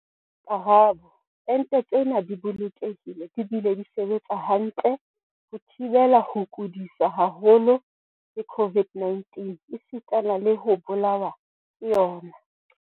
Karabo. Ente tsena di bolokehile di bile di sebetsa hantle ho thibela ho kudiswa haholo ke COVID-19 esitana le ho bolawa ke yona.